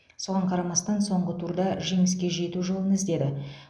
соған қарамастан соңғы турда жеңіске жету жолын іздеді